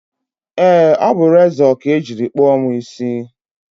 ee, ọ bụ rezọ ka e jiri kpụọ mụ isi